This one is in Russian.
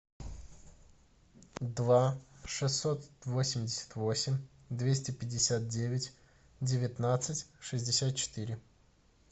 два шестьсот восемьдесят восемь двести пятьдесят девять девятнадцать шестьдесят четыре